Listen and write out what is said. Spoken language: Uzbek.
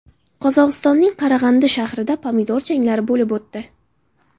Qozog‘istonning Qarag‘andi shahrida pomidor janglari bo‘lib o‘tdi.